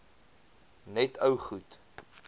net ou goed